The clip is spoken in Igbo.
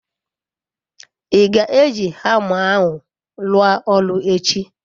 I ga-eji hama ahu rua oru echi?